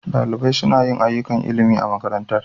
Ɗalibai suna yin ayyukan ilimi a makarantar.